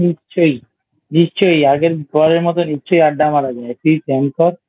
নিশ্চই নিশ্চই আগের দিনের মতো নিশ্চই আড্ডা মারা যায় একদিন Plan কর